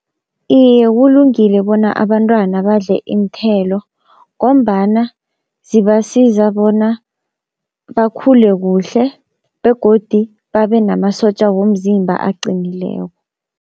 Iye kulungile bona abantwana badle iinthelo, ngombana zibasiza bona bakhule kuhle begodi babe namasotja womzimba aqinileko.